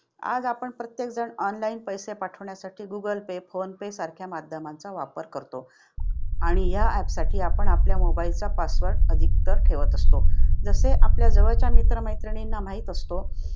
आज आपण प्रत्येक जण online पैसे पाठवण्यासाठी गुगल पे, फोन पे सारख्या माध्यमांचा वापर करतो. आणि यासाठी आपण आपल्या mobile चा password registered ठेवत असतो. जसे आपल्या जवळच्या मित्र-मैत्रिणींना माहीत असतो